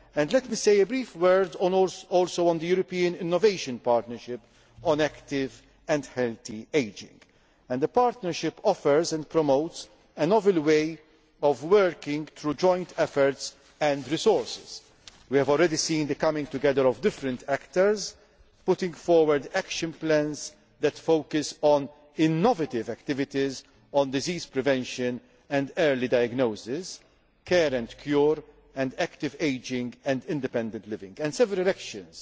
and cancer. Let me say a brief word on the European Innovation Partnership on Active and Healthy Ageing. The Partnership offers and promotes a novel way of working through joint efforts and resources. We have already seen different stakeholders coming together, putting forward action plans that focus on innovative activities, on disease prevention and early diagnosis, care and cure, and active ageing and independent living.